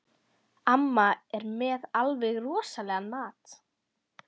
Amma er með alveg rosalegan mat.